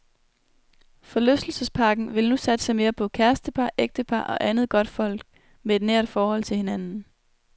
Forlystelsesparken vil nu satse mere på kærestepar, ægtepar og andet godtfolk med et nært forhold til hinanden.